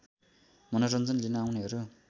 मनोरञ्जन लिन आउनेहरू